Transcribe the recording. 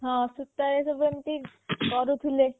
ହଁ ସୂତାରେ ସବୁ ଏମିତି କରୁଥିଲେ